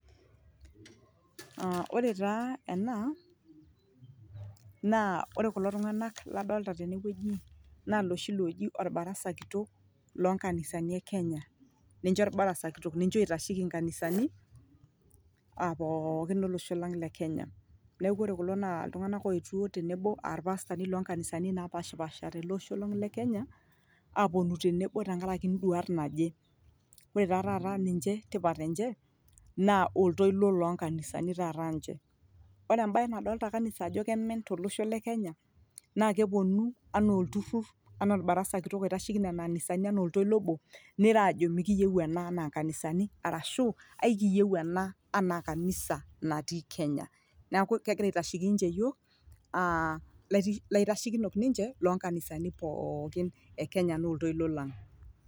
Ore taa ena naa ore kulo tungana ladolita tene wueji naa loshi looji orbarasa kitok loo kanisani e kenya ninche orbarasa kitok nincheo itasheki nkanisani aah pooki olosho lang le kenya. Neaku ore kulo tungana naa ooponu te nebo aah rpastani loo kanisani na pashipasha te le osho lang le kenya aponu te nebo nkaraki iduat naje. Ore taata niche tipat enye naa oltoilo loo kanisani taata ninche. Ore ebae nadolita kanisa ajo kemen to losho le kenya naa keponu anaa olturur anaa orbarasa kitok oitasheki nena anisani anaa oltoilo obo, neiro ajo mikiiyieu ena anaa kanisani arashu ekiiyieu ena anaa kanisani naati kenya. Neaku kegira autaa yiook aah laitashekino ninche loo kanisani pooki e kenya oltoilo lang.